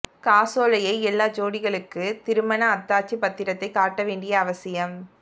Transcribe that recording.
காசோலையை எல்லா ஜோடிகளுக்கு திருமண அத்தாட்சிப் பத்திரத்தைக் காட்டவேண்டிய அவசியம்